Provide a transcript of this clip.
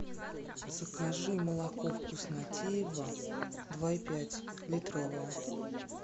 закажи молоко вкуснотеево два и пять литровое